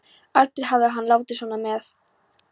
Aldrei hafði hann látið svona með